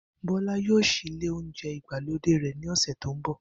Bó̩lá yóò s̩í ilé́ oúnjé̩ ìgbàlódé rè̩ ní ò̩sè̩ tó ń bò̩